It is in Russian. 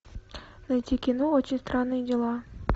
найти кино очень странные дела